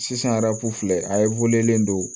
Sisan filɛ a ye don